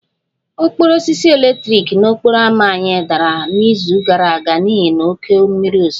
Okporo osisi eletrik n'okporo ámá anyị dara n'izu gara aga n'ihi oké mmiri ozuzo